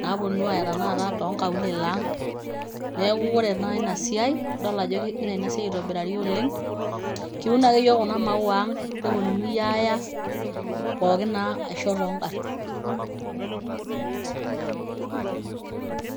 naaponu aaya tenakata too nkaulele aang'. Neeku ore naa ina siai nidolta ajo kegira ina siai aitobirari oleng', kiun ake yiok kuna maua ang' neponunui aaya pookin naa ashu too ng'arin.